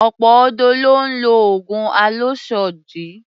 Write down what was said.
Ọ̀pọ̀ ọ̀dọ́ ló ń lo oògùn àlòsódì